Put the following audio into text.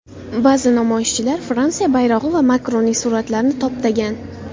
Ba’zi namoyishchilar Fransiya bayrog‘i va Makronning suratlarini toptagan.